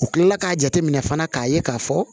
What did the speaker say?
U kilala k'a jateminɛ fana k'a ye k'a fɔ